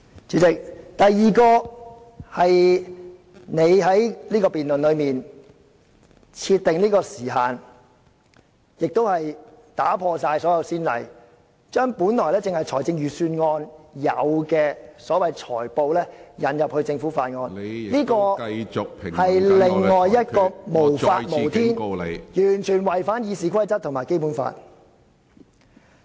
主席，第二，你就此項辯論設定時限，亦打破了所有先例，把本來只在財政預算案辯論才出現的所謂"裁布"引入法案的辯論，這做法無法無天，完全違反《議事規則》及《基本法》......